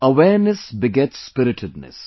awareness beget spiritedness